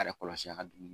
A yɛrɛ kɔlɔsi a ka dumuni